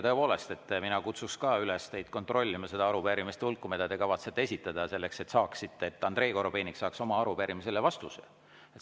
Tõepoolest, ka mina kutsun teid üles kontrollima nende arupärimiste hulka, mida te kavatsete esitada, et Andrei Korobeinik saaks oma arupärimisele vastuse.